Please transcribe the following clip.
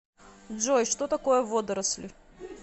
джой что такое водоросли